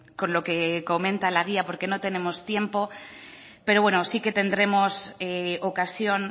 con lo que comenta la guía porque no tenemos tiempo pero bueno sí que tendremos ocasión